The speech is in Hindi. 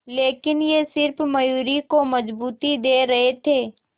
लेकिन ये सिर्फ मयूरी को मजबूती दे रहे थे